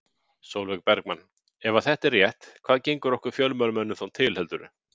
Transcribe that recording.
Sólveig Bergmann: Ef að þetta er rétt hvað gengur okkur fjölmiðlamönnum þá til heldurðu?